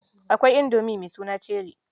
Akwai indomi mai suna Cheri